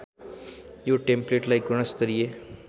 यो टेम्पलेटलाई गुणस्तरिय